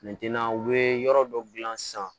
u bɛ yɔrɔ dɔ gilan sisan